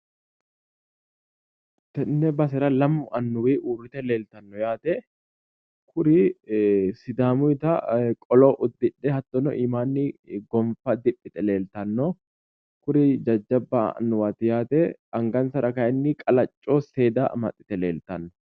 Tenne basera lamu annuwi uurrite leeltanno yaate kuri sidaamuyiita qolo uddidhe hattono iimaanni gonffa diphphite leeltanno kuri jajjabba annuwaati yaate anganssara kayiinni qalacco seeda amaxxite leeltanno